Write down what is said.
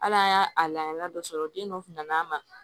Hal'an y'a a la dɔ sɔrɔ den dɔ kunn'a ma